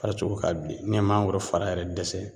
Farisogo ka bilen ni ye mangoro fara yɛrɛ dɛsɛ